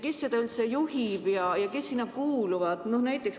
Kes seda üldse juhib ja kes sinna kuuluvad?